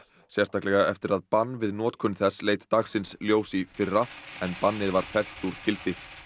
sérstaklega eftir að bann við notkun þess leit dagsins ljós í fyrra en bannið var fellt úr gildi